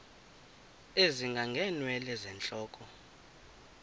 ezinga ngeenwele zentloko